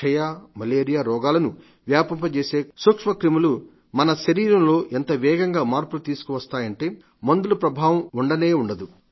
క్షయ మలేరియా రోగాలను వ్యాపింపజేసే సూక్ష్మ క్రిములు మన శరీరంలో ఎంతవేగంగా మార్పులు తీసుకొస్తాయంటే మందుల ప్రభావం ఉండనే ఉండదు